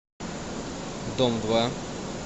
дом два